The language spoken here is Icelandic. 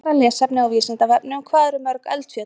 Frekara lesefni á Vísindavefnum: Hvað eru til mörg eldfjöll?